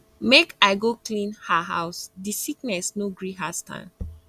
make i go clean her house di sickness no gree her stand